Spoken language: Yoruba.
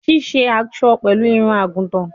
Sise aso pẹlu irun-agutan